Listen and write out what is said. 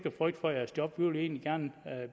at frygte for jeres job vi vil egentlig gerne